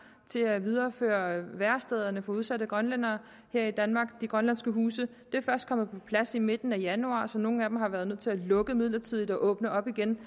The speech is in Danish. til at videreføre værestederne for udsatte grønlændere her i danmark de grønlandske huse det er først kommet på plads i midten af januar så nogle af dem har været nødt til at lukke midlertidigt og åbne op igen